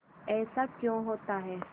ऐसा क्यों होता है